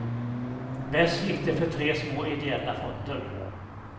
Bäst gick det för tre små ideella fonder.